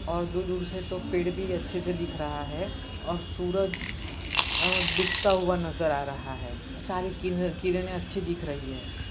और दूर-दूर से तो पेड़ भी अच्छे से दिख रहा है और सूरज डूबता हुआ नजर आ रहा है सारी किरन किरने अच्छी दिख रही हैं।